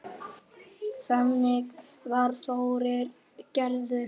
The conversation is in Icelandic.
Þannig var Þórir gerður.